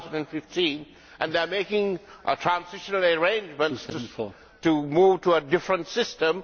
2015. They are making transitional arrangements to move to a different system.